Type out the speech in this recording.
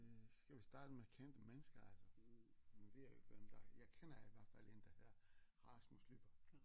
Øh skal vi starte med kendte mennesker altså nu ved jeg jo ikke hvem der jeg kender i hvert fald en der hedder Rasmus Lyberth